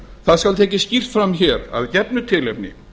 það skal tekið skýrt fram hér af gefnu tilefni